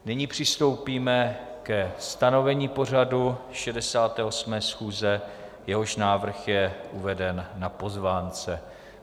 Nyní přistoupíme ke stanovení pořadu 68. schůze, jehož návrh je uveden na pozvánce.